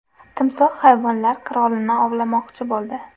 Timsoh hayvonlar qirolini ovlamoqchi bo‘ldi .